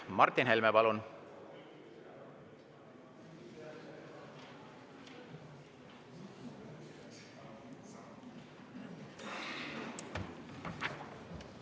Martin Helme, palun!